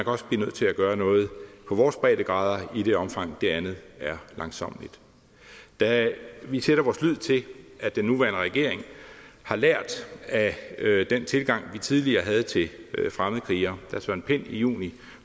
også blive nødt til at gøre noget på vores breddegrader i det omfang det andet er langsommeligt da vi sætter vores lid til at den nuværende regering har lært af den tilgang vi tidligere havde til fremmedkrigere da søren pind i juni